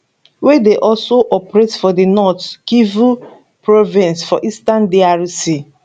wey dey also operate for di north kivu province for eastern drc